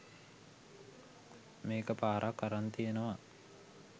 මේක පාරක් අරන් තියනව.